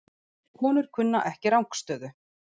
Konur kunna ekki rangstöðu